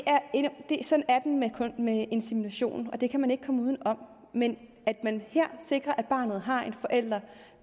med insemination og det kan man ikke komme uden om men her sikrer man at barnet har en forælder